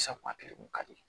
Safunɛ kelen kun ka di